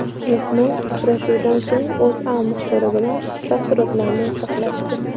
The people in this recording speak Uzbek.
Mehmon uchrashuvdan so‘ng O‘zA muxbiri bilan taassurotlarini o‘rtoqlashdi .